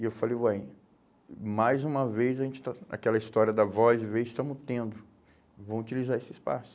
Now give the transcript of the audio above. E eu falei, ué, mais uma vez a gente está, aquela história da voz, vez, estamos tendo, vamos utilizar esse espaço.